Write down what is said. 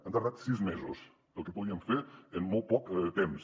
han tardat sis mesos per al que podien fer en molt poc temps